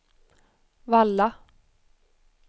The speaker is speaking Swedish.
Valla